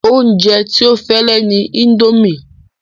Oúnjẹ tí ó fẹ́ lè ni indomie